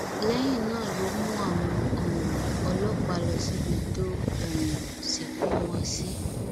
lẹyìn náà ló mú àwọn um ọlọpàá lọ síbi tó um sìnkú wọn sí